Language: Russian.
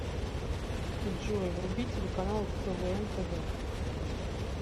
джой вруби телеканал квн тв